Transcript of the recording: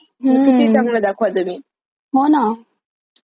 होना.